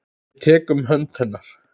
Ég tek um hönd hennar.